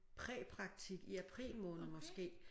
Præpraktik i april måned måske